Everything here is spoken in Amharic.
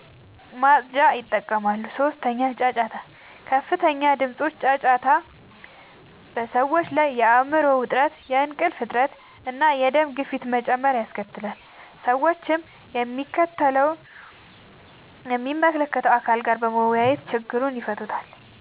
ማፅጃን ይጠቀማሉ። 3. ጫጫታ፦ ከፍተኛ ድምጾች (ጫጫታ) በሰዎች ላይ የአይምሮ ዉጥረት፣ የእንቅልፍ እጥረት፣ እና የደም ግፊት መጨመር ያስከትላል። ሰዎችም ከሚመለከተዉ አካል ጋር በመወያየት ችግሩን ይፈታሉ።